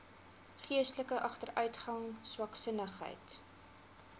geestelike agteruitgang swaksinnigheid